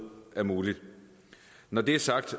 er muligt når det er sagt